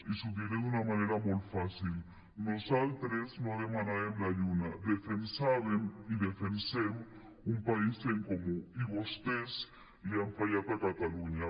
i els ho diré d’una manera molt fàcil nosaltres no demanàvem la lluna defensàvem i defensem un país en comú i vostès li han fallat a catalunya